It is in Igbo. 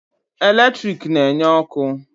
Eletrik na-enye ọkụ.